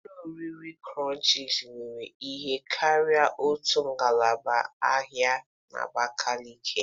Ụlọ oriri krọnchiz were ihe karịrị otu ngalaba ahịa n'Abakeleke.